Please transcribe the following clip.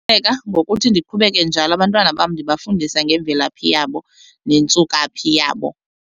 ngokuthi ndiqhubeke njalo abantwana bam ndibafundisa ngemvelaphi yabo nentsukaphi yabo.